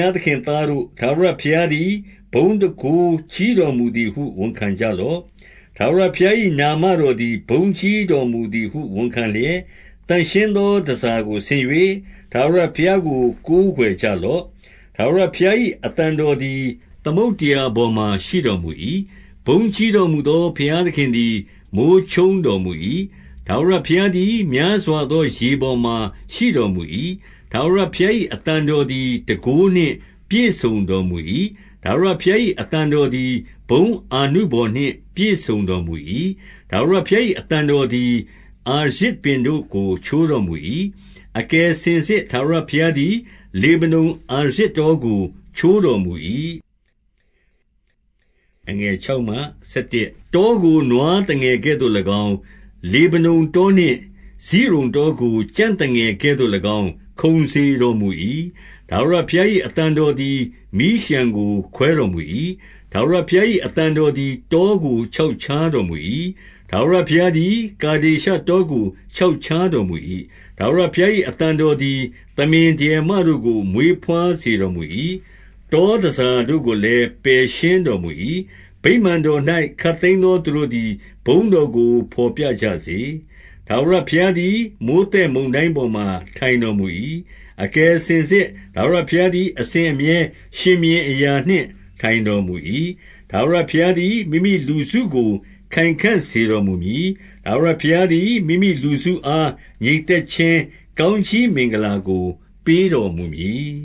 ားသခင်သားတို့၊ ထာဝရဘုရားသည် ဘုန်းတန်ခိုးကြီးတော်မူသည်ဟု ဝန်ခံကြလော့။ 2 ထာဝရဘုရား၏ နာမတော်သည် ဘုန်းကြီး တော်မူသည်ဟု ဝန်ခံလျက်၊ သန့်ရှင်းသောတန်ဆာကို ဆင်၍၊ ထာဝရဘုရားကို ကိုးကွယ်ကြလော့။ 3 ထာဝရဘုရား၏ အသံတော်သည် သမုဒ္ဒရာ ပေါ်မှာ ရှိတော်မူ၏။ ဘုန်းကြီးတော်မူသော ဘုရား သခင်သည် မိုဃ်းချုန်းတော်မူ၏။ ထာဝရဘုရားသည် များစွာသောရေပေါ်မှာ ရှိတော်မူ၏။ 4 ထာဝရဘုရား၏ အသံတော်သည် တန်ခိုး နှင့်ပြည့်စုံတော်မူ၏။ ထာဝရဘုရား၏ အသံတော်သည် ဘုန်းအာနုဘော်နှင့် ပြည့်စုံတော်မူ၏။ 5 ထာဝရဘုရား၏ အသံတော်သည် အာရဇ်ပင် တို့ကို ချိုးတော်မူ၏။ အကယ်စင်စစ် ထာဝရဘုရားသည် လေဗနုန်အာရဇ်တော်ကို ချိုးတော်မူ၏။ 6 တောကို နွားသငယ်ကဲ့သို့၎င်း၊ လေဗနုန်တော နှင့် စိရုန်တောကို ကြံ့သငယ်ကဲ့သို့၎င်း ခုန်စေတော်မူ၏။ 7 ထာဝရဘုရား၏ အသံတော်သည် မီးလျှံကို ခွဲတော်မူ၏။ 8 ထာဝရဘုရား၏ အသံတော်သည် တောကို ချောက်ချားတော်မူ၏။ ထာဝရဘုရားသည် ကာဒေရှ တောကို ချောက်ချားတော်မူ၏။ 9 ထာဝရဘုရား၏ အသံတော်သည် သမင်ဒရယ် မတို့ကို မွေးဘွားစေတော်မူ၏။ တောတန်ဆာတို့ကိုလည်း ပယ်ရှင်းတော်မူ၏။ ဗိမာန်တော်၌ ခပ်သိမ်းသောသူတို့ သည် ဘုန်းတော်ကို ဘော်ပြကြစေ။ 10 ထာဝရဘုရားသည် မိုဃ်းသက်မုန်တိုင်းပေါ်မှာ ထိုင်တော်မူ၏။ အကယ်စင်စစ် ထာဝရဘုရားသည် အစဉ်အမြဲ ရှင်ဘုရင်အရာနှင့် ထိုင်တော်မူ၏။ 11 ထာဝရဘုရားသည် မိမိလူစုကို ခိုင်ခံ့စေတော် မူမည်။ ထာဝရဘုရားသည် မိမိလူစုအား ငြိမ်သက်ခြင်း ကောင်းကြီးမင်္ဂလာကို ပေးတော်မူမည်